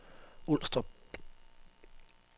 Ulstrup